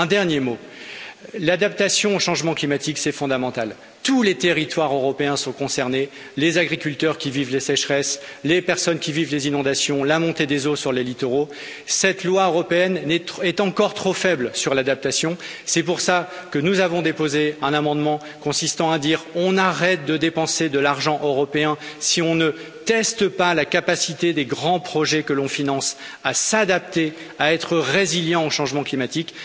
Un dernier mot l'adaptation au changement climatique, c'est fondamental, tous les territoires européens sont concernés, les agriculteurs qui vivent les sécheresses, les personnes qui vivent les inondations, la montée des eaux sur les littoraux, cette loi européenne est encore trop faible sur l'adaptation, c'est pour cela que nous avons déposé un amendement, pour arrêter de dépenser de l'argent européen si on ne teste pas la capacité des grands projets que l'on finance à s'adapter, à être résilients au changement climatique.